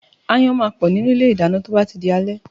Aáyán máa pọ̀ nínú ilé ìdáná tí ó bá tí di alé